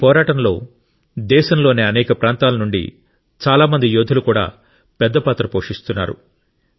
ఈ పోరాటంలో దేశంలోని అనేక ప్రాంతాల నుండి చాలా మంది యోధులు కూడా పెద్ద పాత్ర పోషిస్తున్నారు